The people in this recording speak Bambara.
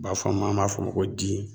U b'a fɔ a ma, an b'a fɔ o ma ko di.